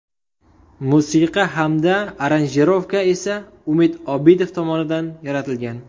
Musiqa hamda aranjirovka esa Umid Obidov tomonidan yaratilgan.